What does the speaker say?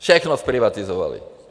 Všechno zprivatizovali.